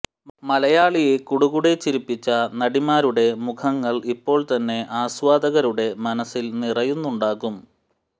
മലയാളിയെ കുടുകുടെ ചിരിപ്പിച്ച നടിമാരുടെ മുഖങ്ങൾ ഇപ്പോൾത്തന്നെ ആസ്വാദകരുടെ മനസിൽ നിറയുന്നുണ്ടാകും